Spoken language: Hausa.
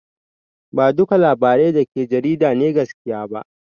Ba duka labarai dake cikin jarida ne gaskiya ba